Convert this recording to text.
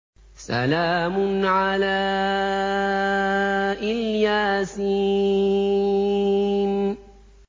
سَلَامٌ عَلَىٰ إِلْ يَاسِينَ